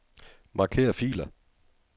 Marker filer.